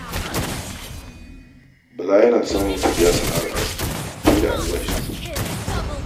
Bala yana samun kuɗi a sana'ar aski sama da albashinsa